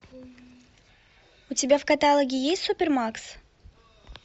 у тебя в каталоге есть супер макс